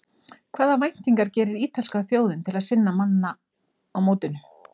Hvaða væntingar gerir ítalska þjóðin til sinna manna á mótinu?